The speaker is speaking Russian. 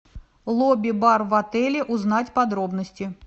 лобби бар в отеле узнать подробности